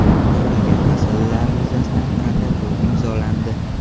Ko‘rilgan masalalar yuzasidan protokol imzolandi.